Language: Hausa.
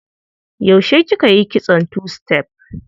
Yaushe kika yi kitson tu-sitef?